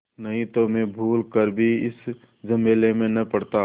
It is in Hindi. नहीं तो मैं भूल कर भी इस झमेले में न पड़ता